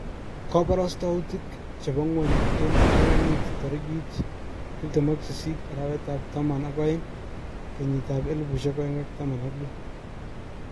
Koborostoutik chebo ngwony eng ptanganyit torikit 28-Taman ak aeng-2016